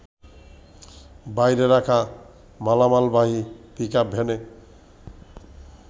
বাইরে রাখা মালামালবাহী পিকআপ ভ্যানে